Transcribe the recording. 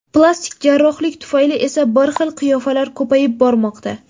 Plastik jarrohlik tufayli esa ‘bir xil’ qiyofalar ko‘payib bormoqda.